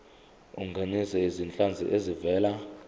ungenise izinhlanzi ezivela